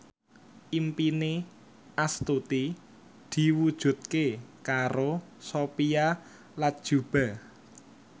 impine Astuti diwujudke karo Sophia Latjuba